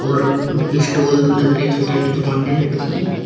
और स्टॉल लग रही छोटी छोटी दुकाने लग रही--